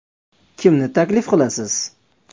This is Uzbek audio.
Kimni taklif qilasiz?